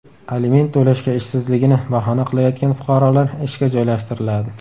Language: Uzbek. Aliment to‘lashga ishsizligini bahona qilayotgan fuqarolar ishga joylashtiriladi.